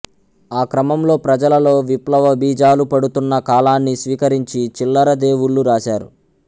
ఆ క్రమంలో ప్రజలలో విప్లవబీజాలు పడుతున్నకాలాన్ని స్వీకరించి చిల్లరదేవుళ్ళు రాశారు